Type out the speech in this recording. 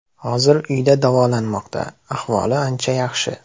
Hozir uyda davolanmoqda, ahvoli ancha yaxshi.